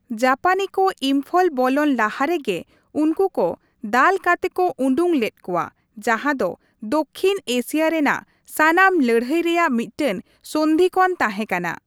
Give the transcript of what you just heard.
ᱡᱟᱯᱟᱱᱤ ᱠᱚ ᱤᱢᱯᱷᱚᱞ ᱵᱚᱞᱚᱱ ᱞᱟᱦᱟ ᱨᱮᱜᱮ ᱩᱱᱠᱩ ᱠᱚ ᱫᱟᱞ ᱠᱟᱛᱮ ᱠᱚ ᱩᱰᱩᱠ ᱞᱮᱫ ᱠᱚᱣᱟ, ᱡᱟᱦᱟᱸ ᱫᱚ ᱫᱚᱠᱠᱷᱤᱱ ᱮᱥᱤᱭᱟ ᱨᱮᱭᱟᱜ ᱥᱟᱱᱟᱢ ᱞᱟᱹᱲᱦᱟᱹᱭ ᱨᱮᱭᱟᱜ ᱢᱤᱫᱴᱟᱝ ᱥᱚᱱᱫᱷᱤ ᱠᱷᱚᱱ ᱛᱟᱦᱮᱸᱠᱟᱱᱟ ᱾